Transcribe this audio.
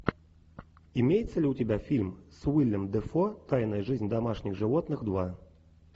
имеется ли у тебя фильм с уиллем дефо тайная жизнь домашних животных два